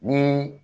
Ni